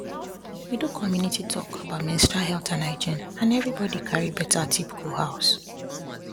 we do community talk about menstrual health and hygiene and everybody carry better tip go house